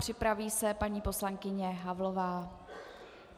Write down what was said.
Připraví se paní poslankyně Havlová.